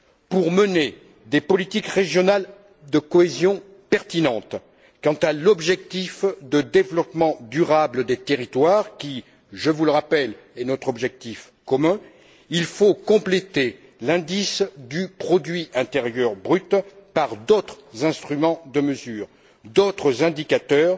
Pour mener des politiques régionales de cohésion pertinentes quant à l'objectif de développement durable des territoires qui, je vous le rappelle, est notre objectif commun, il faut compléter l'indice du produit intérieur brut par d'autres instruments de mesure, d'autres indicateurs,